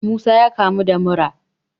Musa ya kamu da mura